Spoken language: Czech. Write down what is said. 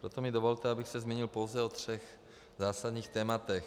Proto mi dovolte, abych se zmínil pouze o třech zásadních tématech.